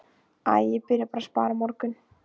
Æ, ég byrja bara að spara á morgun